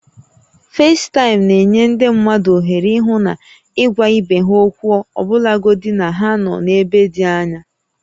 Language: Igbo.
Facetime na-enye ndị mmadụ ohere ịhụ na ịgwa ibe ha okwu ọbụlagodi na ha nọ n'ebe dị anya